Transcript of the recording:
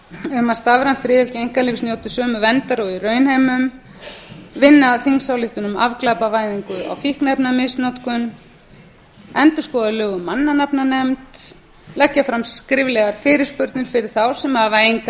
um að stafræn friðhelgi einkalífs njóti sömu verndar og í raunheimum vinna að þingsályktun um afglæpavæðingu á fíkniefnamisnotkun endurskoða lög um mannanafnanefnd leggja fram skriflegar fyrirspurnir fyrir þá sem hafa enga